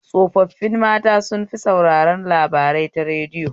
Tsofaffin mata sun fi sauraren labarai ta radiyo.